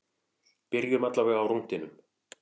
Byrjum allavega á rúntinum.